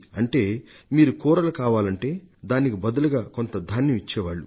అంటే మీకు కూరలు కావాలంటే దానికి బదులుగా కొంత ధాన్యం ఇచ్చేవాళ్లు